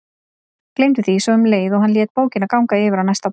Gleymdi því svo um leið og hann lét bókina ganga yfir á næsta borð.